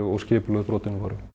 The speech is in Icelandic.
og skipulögð brotin voru